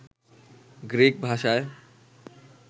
Greek ভাষায়